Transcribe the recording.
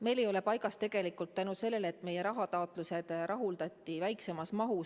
See ei ole paigas seetõttu, et meie rahataotlused rahuldati väiksemas mahus.